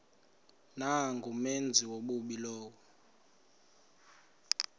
nangumenzi wobubi lowo